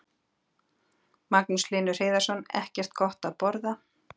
Magnús Hlynur Hreiðarsson: Ekkert gott að borða?